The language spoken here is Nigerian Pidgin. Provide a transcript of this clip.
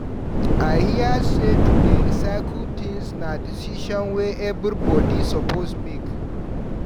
I hear sey to dey recycle tins na decision wey everybodi suppose make.